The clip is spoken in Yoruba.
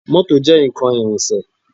Mọ́tò jẹ́ nǹkan ìrìnsẹ̀